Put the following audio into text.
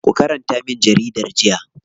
Ku karanta min jaridar jiya.